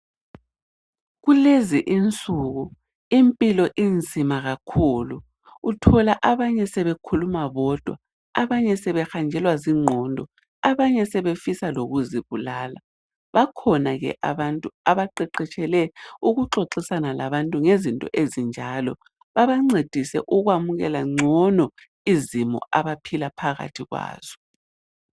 Kulezi insuku impilo inzima kakhulu uthola abanye sebekhuluma bodwa abanye sebehanjelwa zingqondo abanye sebefisa lokuzibulala. Bakhona abantu abaqeqetshele ukuxoxisana labantu ngezinto ezinjalo babancedise ukwamukela ngcono izimo abaphila phakathi kwazo.